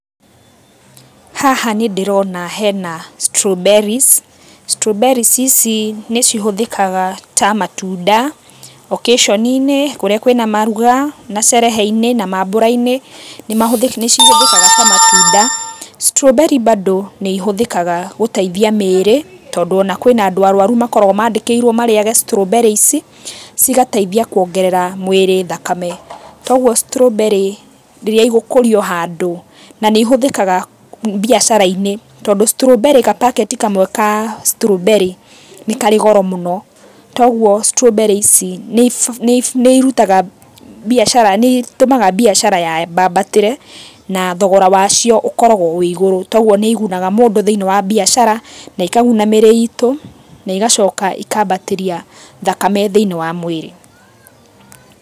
Haha nĩ ndĩrona hena strawberries, strawberries ici nĩ cihũthĩkaga ta matunda occasion inĩ kũrĩa kwĩna maruga na sherehe inĩ na mambura-inĩ, nĩ cihũthĩkaga ta matunda. Strawberry bado nĩ ihũthĩkaga gũteithia mĩĩrĩ tondũ ona kwĩna andũ arũaru makoragwo maandĩkĩirũo marĩage strawberry ici, cigateithia kuongerera mwĩrĩ thakame. Ta ũguo strawberry ici rĩrĩa igũkũrio handũ na nĩ ihũthĩkaga biacara-inĩ tondũ strawberry ga packet kamwe ka strawberry nĩ karĩ goro mũno toguo strawberry ici nĩ irutaga biacara, nĩ itũmaga biacara yambambatĩre na thogora wacio ũkoragwo wĩ igũrũ. Toguo nĩ igunaga mũndũ thĩinĩ wa biacara na ikaguna mĩĩrĩ itũ, na igacoka ikambatĩria thakame thĩinĩ wa mwĩrĩ.